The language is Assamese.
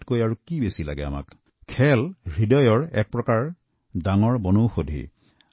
ইয়াত অধিক আৰু কি লাগে এফালৰ পৰা খেলাধুলা আন্তৰিক মিলাপ্ৰীতিৰ এক উপায়